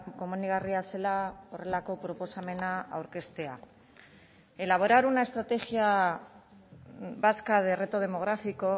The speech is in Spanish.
komenigarria zela horrelako proposamena aurkeztea elaborar una estrategia vasca de reto demográfico